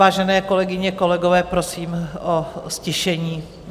Vážené kolegyně, kolegové, prosím o ztišení.